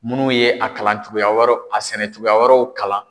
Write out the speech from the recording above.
Munnu ye a kalan cogoya wɛrɛw a sɛnɛ cogoya wɛrɛw kalan